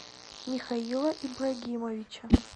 михаила ибрагимовича